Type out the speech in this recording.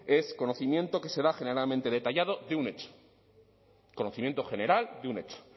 es conocimiento que se da generalmente detallado de un hecho conocimiento general de un hecho